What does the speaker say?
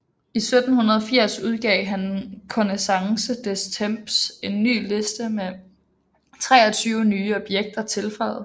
I 1780 udgav han i Connaissance des Temps en ny liste med 23 nye objekter tilføjet